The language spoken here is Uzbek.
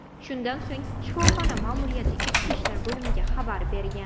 Shundan so‘ng shifoxona ma’muriyati ichki ishlar bo‘limiga xabar bergan.